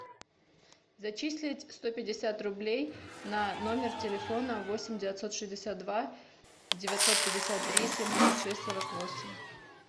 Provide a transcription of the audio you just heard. зачислить сто пятьдесят рублей на номер телефона восемь девятьсот шестьдесят два девятьсот пятьдесят три семьдесят шесть сорок восемь